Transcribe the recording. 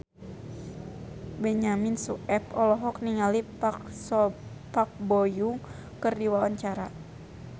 Benyamin Sueb olohok ningali Park Bo Yung keur diwawancara